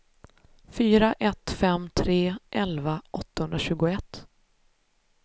fyra ett fem tre elva åttahundratjugoett